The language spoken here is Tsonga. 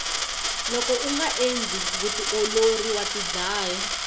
loko unga endli vutiolori wa tidlaya